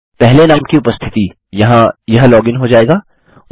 पहले नाम की उपस्थिति यहाँ यह लॉगिन हो जाएगा